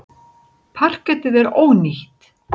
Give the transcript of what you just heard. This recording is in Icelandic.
Parketið er ónýtt.